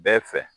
Bɛɛ fɛ